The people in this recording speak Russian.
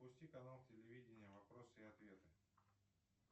запусти канал телевидения вопросы и ответы